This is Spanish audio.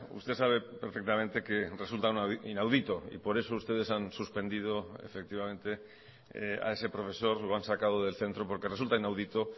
usted sabe perfectamente que resulta inaudito y por eso ustedes han suspendido efectivamente a ese profesor lo han sacado del centro porque resulta inaudito